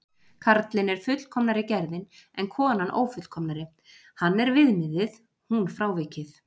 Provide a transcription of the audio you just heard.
Karlinn er fullkomnari gerðin en konan ófullkomnari, hann er viðmiðið, hún frávikið.